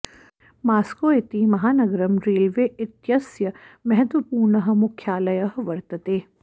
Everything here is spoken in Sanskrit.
मास्को इति महानगरं रेलवे इत्यस्य महत्वपूर्णः मुख्यालयः वर्तते